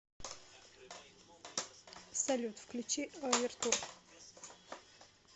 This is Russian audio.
салют включи овертур